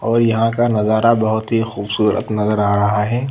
और यहाँ का नजारा बहुत ही खूबसूरत नजर आ रहा हैं।